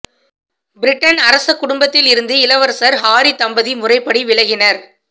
Britain அரச குடும்பத்தில் இருந்து இளவரசர் ஹாரி தம்பதி முறைப்படி விலகினர்